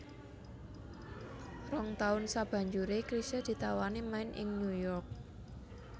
Rong taun sabanjuré Chrisye ditawani main ing New York